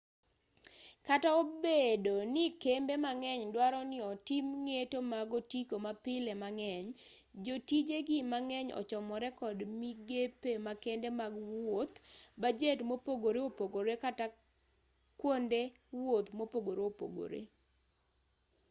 kata obedo ni kembe mang'eny duaro ni otim ng'eto mag otiko mapile mang'eny jotijegi mang'eny ochomore kod migepe makende mag wuoth bajet mopogore opogore kata kata kwonde wuoth mopogore opogore